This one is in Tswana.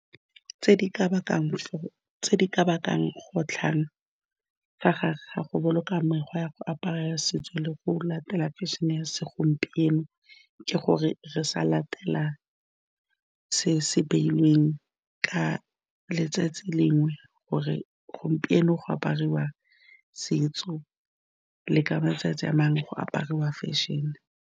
Tse di ka bakang kgotlhang fa gare ga go boloka mekgwa ya go apara setso le go latela fešene ya segompieno ke gore re sa latela se se beilweng ka letsatsi lengwe gore gompieno go apariwa setso le ka matsatsi a mangwe go apariwa fešene.